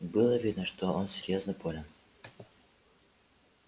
было видно что он серьёзно болен